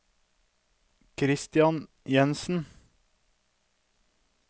Christian Jensen